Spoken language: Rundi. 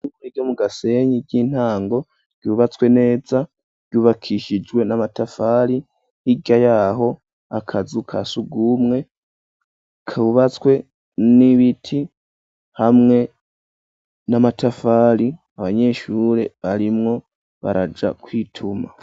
Îshure ryo mu gasenyi ry'intango ,ryubatswe neza, ryubakishijwe n'amatafari hirya yaho, akazu kasugumwe kubatswe n'ibiti hamwe n'amatafari ,abanyeshure barimwo baraja kwituma.